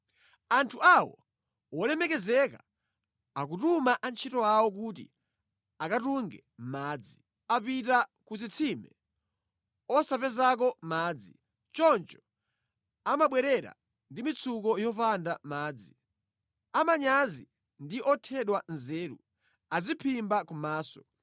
Anthu awo wolemekezeka akutuma antchito awo kuti akatunge madzi. Apita ku zitsime osapezako madzi. Choncho amabwerera ndi mitsuko yopanda madzi. Amanyazi ndi othedwa nzeru adziphimba kumaso.